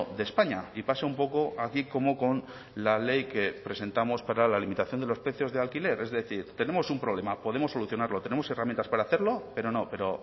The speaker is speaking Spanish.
de españa y pasa un poco aquí como con la ley que presentamos para la limitación de los precios de alquiler es decir tenemos un problema podemos solucionarlo tenemos herramientas para hacerlo pero no pero